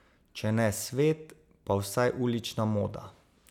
Če ne svet, pa vsaj ulična moda.